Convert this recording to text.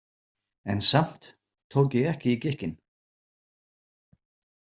En samt tók ég ekki í gikkinn.